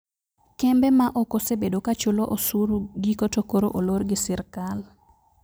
Kembe ma okosebedo ka chulo osuru giko to koro olor gi sirkal